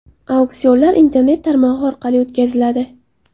Auksionlar Internet tarmog‘i orqali o‘tkaziladi.